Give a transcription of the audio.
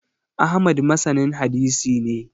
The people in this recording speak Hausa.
Ahmad masanin hadisi ne